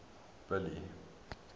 billy